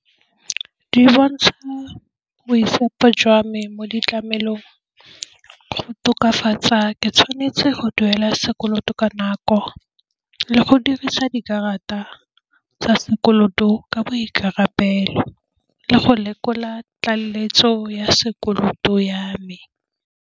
Di bontsha boitshepo jwa me mo ditlamelong go tokafatsa, ke tshwanetse go duela sekoloto ka nako, le go dirisa dikarata tsa sekoloto ka boikarabelo le go lekola tlaleletso ya sekoloto ya me.